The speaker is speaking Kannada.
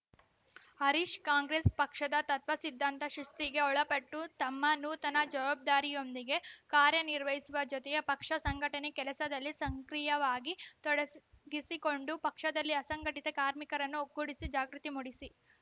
ಹರೀಶ ಕಾಂಗ್ರೆಸ್‌ ಪಕ್ಷದ ತತ್ವ ಸಿದ್ಧಾಂತ ಶಿಸ್ತಿಗೆ ಒಳಪಟ್ಟು ತಮ್ಮ ನೂತನ ಜವಾಬ್ದಾರಿಯೊಂದಿಗೆ ಕಾರ್ಯನಿರ್ವಹಿಸುವ ಜೊತೆಗೆ ಪಕ್ಷ ಸಂಘಟನೆ ಕೆಲಸದಲ್ಲಿ ಸಕ್ರೀಯವಾಗಿ ತೊಡಸ್ ಗಿಸಿಕೊಂಡು ಪಕ್ಷದಲ್ಲಿ ಅಸಂಘಟಿತ ಕಾರ್ಮಿಕರನ್ನು ಒಗ್ಗೂಡಿಸಿ ಜಾಗೃತಿ ಮೂಡಿಸಿ